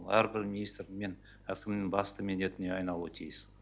әрбір министр мен әкімнің басты міндетіне айналуы тиіс